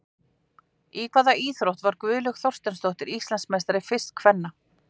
Í hvaða íþrótt varð Guðlaug Þorsteinsdóttir Íslandsmeistari, fyrst kvenna?